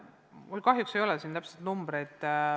Mul kahjuks ei ole siin täpseid numbreid.